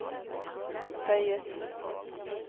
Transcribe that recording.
føyet